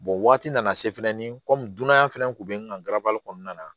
waati nana se fɛnɛ ni komi dunanya fɛnɛ kun be n kan ga kɔnɔna na